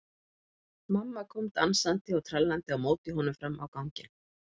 Mamma kom dansandi og trallandi á móti honum fram á ganginn.